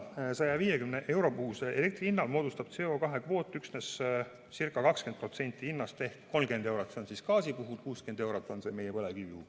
150 euro puhusest elektri hinnast moodustab CO2 kvoot üksnes ca 20% ehk 30 eurot, seda gaasi puhul, 60 eurot on see meie põlevkivi puhul.